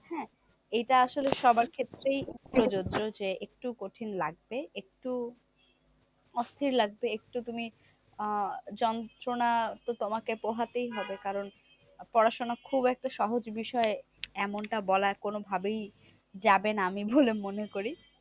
অস্থির লাগবে একটু তুমি আহ যন্ত্রনা তো তোমাকে পোহাতেই হবে। কারণ পড়াশোনা খুব একটা সহজ বিষয় এমনটা বলা কোনো ভাবেই যাবে না আমি বলে মনে করি।